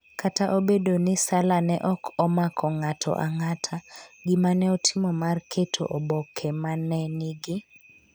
kata obedo ni Salla ne ok omako ng’ato ang’ata, gima ne otimo mar keto oboke ma ne nigi: